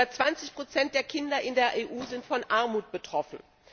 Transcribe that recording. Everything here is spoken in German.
Über 20 der Kinder in der EU sind von Armut betroffen.